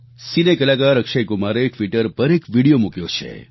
સિને કલાકાર અક્ષય કુમારે ટ્વીટર પર એક વીડિયો મૂક્યો છે